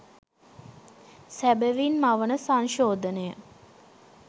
සැබවින් මවන සංශෝධනය